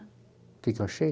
O que que eu achei?